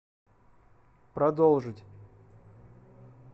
продолжить